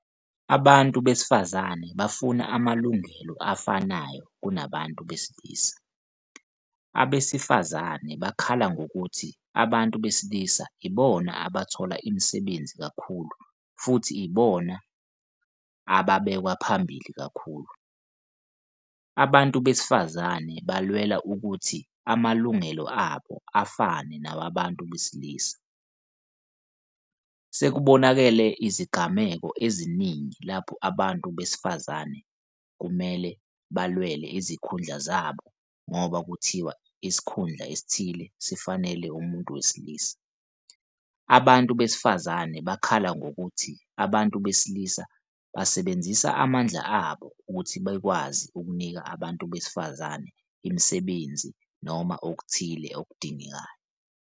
Abantu besifazane bafuna amalungelo afanayo kunabantu besilisa. Abesifazane bakhala ngokuthi abantu besilisa ibona abathola imisebenzi kakhulu futhi ibona ababekwaphambili kakhulu. Abantu besifazane balwela ukuthi abalungelo abo afane nawabantu besilisa. Sekubonakale izingameko eziningi lapho abantu besifazane kumele balwele izikhundla zabo ngoba kuthiwa isikhundla esithile sifanele umuntu wesilisa. Abantu besifazane bakhala ngokuthi abantu besilisa basebenzisa amandla wabo ukuthi bekwazi ukunika abantu besifazane imisebenzi noma okuthile abakudingayo.